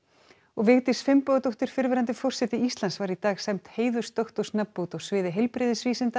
Vigdís Finnbogadóttir fyrrverandi forseti Íslands var í dag sæmd heiðursdoktorsnafnbót á sviði heilbrigðisvísinda